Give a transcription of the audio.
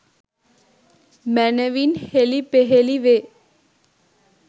මැනවින් හෙළිපෙහෙළි වේ.